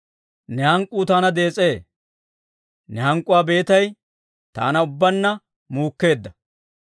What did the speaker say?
Ne hank'k'uu taana dees'ee; ne hank'k'uwaa beetay taana ubbaanna muukkeedda.